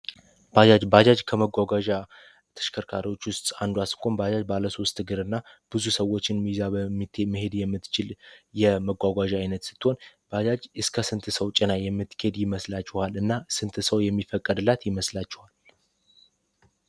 ባጃጅ ከመጓጓዣ ተሽከርካሪዎች ውስጥ አንዱ ስትሆን ባጃጅ ባለሶ ውስት ግር እና ብዙ ሰዎችን ይዛ መሄድ የምትችል የመጓጓዣ ዓይነት ስትሆን ባጃጅ እስከ ስንት ሰው ጭና የምትኬድ ይመስላችኋል እና ስንት ሰው የሚፈቀድላት ይመስላችዋል?